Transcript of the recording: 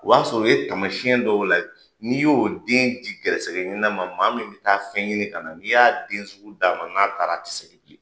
O b'a sɔrɔ o ye taamasiyɛn dɔw lajɛ. N'i y'o den di gɛrisɛgɛ ɲinina ma, maa min bɛ taa fɛn ɲini ka na, n'i y'a den sugu d'a ma. N'a taara a tɛ segin bilen.